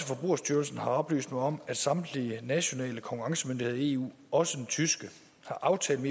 forbrugerstyrelsen har oplyst mig om at samtlige nationale konkurrencemyndigheder i eu også den tyske har aftalt